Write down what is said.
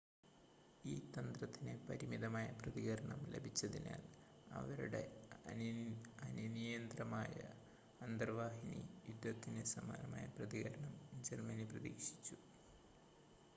ഈ തന്ത്രത്തിന് പരിമിതമായ പ്രതികരണം ലഭിച്ചതിനാൽ അവരുടെ അനിയന്ത്രിതമായ അന്തർവാഹിനി യുദ്ധത്തിന് സമാനമായ പ്രതികരണം ജർമ്മനി പ്രതീക്ഷിച്ചു